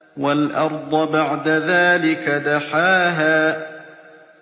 وَالْأَرْضَ بَعْدَ ذَٰلِكَ دَحَاهَا